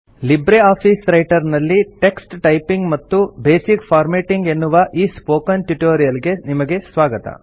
Libre office Writer ನಲ್ಲಿ text typing ಮತ್ತು basic formatting ಎನ್ನುವ ಈ ಸ್ಪೋಕನ್ ಟ್ಯುಟೋರಿಯಲ್ ಗೆ ನಿಮಗೆ ಸ್ವಾಗತ